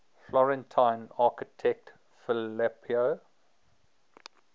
florentine architect filippo